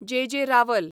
जे. J. रावल